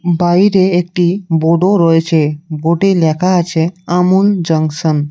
বাইরে একটি বোডও রয়েছে বোডে লেখা আছে আমূল জাঙ্কশন ।